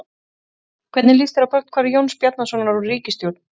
Hvernig líst þér á brotthvarf Jóns Bjarnasonar úr ríkisstjórn?